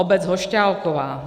Obec Hošťálková.